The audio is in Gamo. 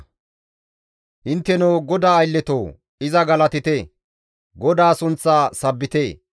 Intteno GODAA aylletoo! Iza galatite! GODAA sunththa sabbite!